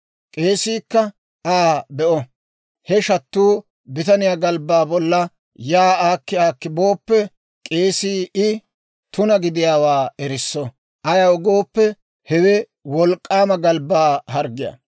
K'eesiikka Aa be'o; he shattuu bitaniyaa galbbaa bollan yaa aakki aakki booppe, k'eesii I tuna gidiyaawaa erisso; ayaw gooppe hewe wolk'k'aama galbbaa harggiyaa.